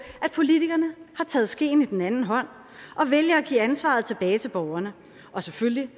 at politikerne har taget skeen i den anden hånd og vælger at give ansvaret tilbage til borgerne og selvfølgelig